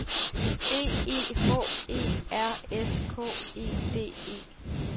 B E H E R S K E D E